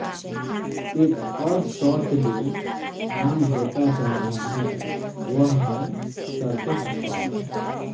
एक और शॉट जो आम होता जा रहा है वह है सर्कस शॉट